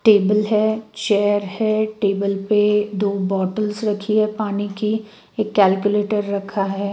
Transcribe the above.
Table है chair है table पे दो बॉटल्स रखी है पानी की एक कैलकुलेटर रखा है।